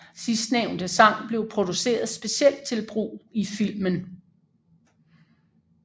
Sidstnævnte sang blev produceret specielt til brug i filmen